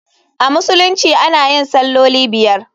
A Musulunci ana yin salloli biyar.